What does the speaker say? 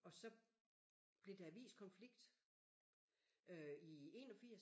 Og så blev der aviskonflikt øh i 81